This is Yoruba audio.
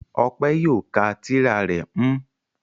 Ọpẹ́ yóò ka tírà rẹ̀ m